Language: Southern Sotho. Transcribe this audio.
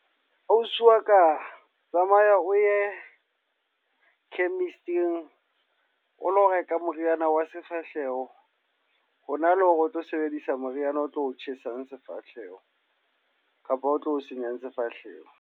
Ausi wa ka, tamaya o ye chemist-ing o lo reka moriana wa sefahleho. Hona le hore o tlo sebedisa moriana o tlo tjhesang sefahleho kapa o tlo senyang sefahleho.